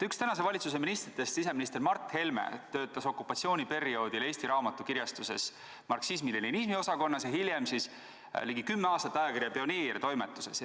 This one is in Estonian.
Üks praeguse valitsuse ministritest, siseminister Mart Helme töötas okupatsiooniperioodil Eesti Raamatu kirjastuses marksismi-leninismi osakonnas ja hiljem ligi kümme aastat ajakirja Pioneer toimetuses.